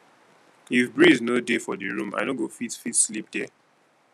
if breeze no dey for di room i no go fit fit sleep there